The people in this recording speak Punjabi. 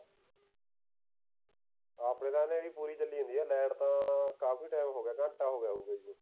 ਆਪਣੇ ਤਾਂ ਨੇਰੀ ਪੂਰੀ ਚੱਲਣ ਦੀ ਹੈ light ਤਾਂ ਕਾਫੀ time ਹੋ ਗਿਆ ਘੰਟਾ ਹੋ ਗਿਆ ਪੁਰਾ